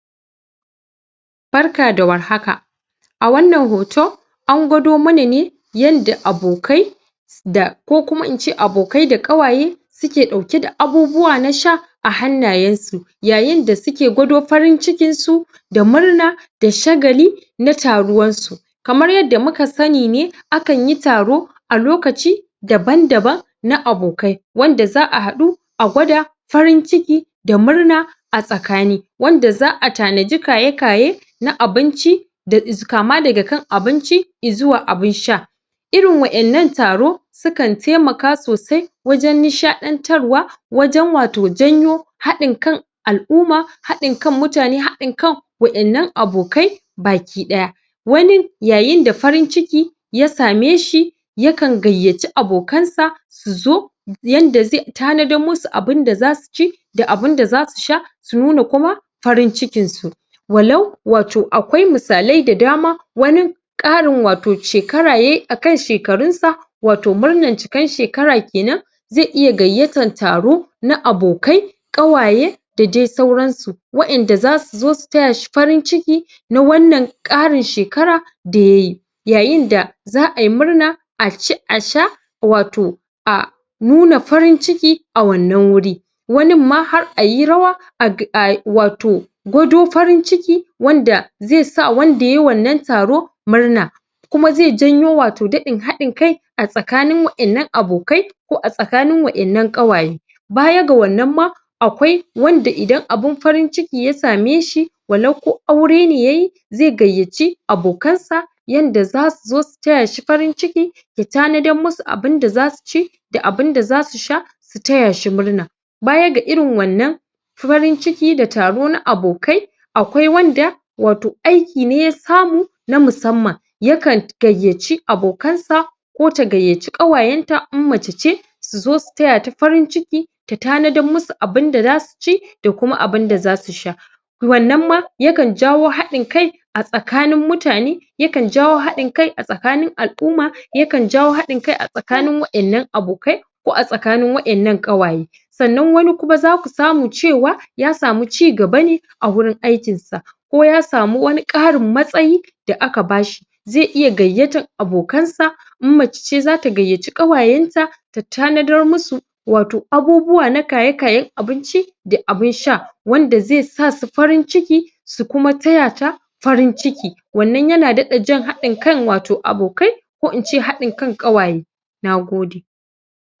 Barka da warhaka wannan hoto an gwado mana ne yanda abokai da ko kuma in ce abokai da ƙawaye suke ɗauke da abubuwa na sha a hannayensu yayinda suke gwado farin cikinsu da murna da shagali na taruwansu kamar yanda muka sani ne akanyi taro a lokaci daban-daban na abokai wanda za a haɗu a gwada farin ciki da murna a tsakani wanda za a tanaji kaye-kaye na abinci da? kama daga kan abinci izuwa abin sha irin wa'innan taro skan taimaka sosai wajen nishaɗantarwa wajen wato janyo haɗin kan al'uma haɗin kan mutane haɗin kan wa'innan abokai bakiɗaya wani yayinda farin-ciki ya sameshi yakan gayyaci abokansa su zo yanda zai tanadar musu abinda za su ci da abunda zasu sha su nuna kuma farin-cikinsu walau wato akwai misalai da dama wanin ƙarin wato shekara yayi a kan shekarunsa wato murnan cikan shekara kenan zai iya gayyatan taro na abokai ƙawaye da dai sauransu wa'inda za su zo su tayashi farin-ciki na wanan ƙarin shekara da yayi yayinda za ayi murna a ci a sha wato a nuna farin-ciki a wannan wuri waninma har ayi rawa? wato gwado farin-ciki wanda zai sa wanda yayi wannan taro murna kuma zai janyo wato daɗin haɗin kai a tsakanin wa'innan abokai ko a tsakanin wa'innan ƙawaye baya ga wannan ma akwai wanda idan abin farin-ciki ya sameshi walau ko aurene yayi zai gayyaci abokansa yanda za su zo tayashi farin-ciki da tanadan musu abinda za su ci da abinda za su sha su tayashi murna baya ga irin wannan farin-ciki da taro na abokai akwai wanda wato aiki ne ya samu na musamman yakan gayyaci abokansa ko ta gayyaci ƙawayenta in mace ce su zo su tatata farin-ciki ta tanadan musu abinda za su ci da kuma abinda za su sha wannan ma yakan jawo haɗin kai a tsakanin mutane yakan jawo haɗin kai a tsaka al'uma yakan jawo haɗin kai a tsakanin wa'innan abokai ko a tsakanin wa'innan ƙawaye sanna wani kuma za ku samu cewa ya samu cigaba ne a wurin aikinsa ko ya samu wani ƙarin matsayi da aka bashi zai iya gayyatan abokansa in mace ce za ta gaaci ƙawayenta ta tanadar musu wato abubuwa na kaye-kayen aninci da abin sha wanda zai sa su farin-ciki su kuma tayata farin-ciki wannan yana daɗa jan wato hankalin abokai ko in ce haɗin kan ƙawaye na gode.